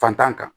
Fantan kan